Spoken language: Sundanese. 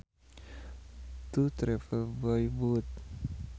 To travel by boat